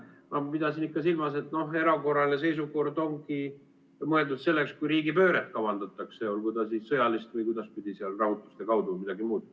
Ma pidasin ikka silmas, et noh erakorraline seisukord ongi mõeldud selleks, kui riigipööret kavandatakse, olgu ta siis sõjaline või kuidagipidi rahutuste kaudu või midagi muud.